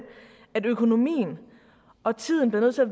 at økonomien og tiden bliver nødt til at